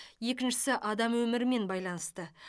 екіншісі адам өмірімен байланысты